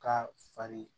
K'a fari